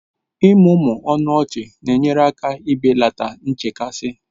Ịmụmụ ọnụ ọchị na-enyere aka belata nchekasị